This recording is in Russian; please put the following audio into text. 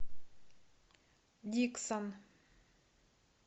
диксон